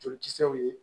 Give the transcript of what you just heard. Jolikisɛw ye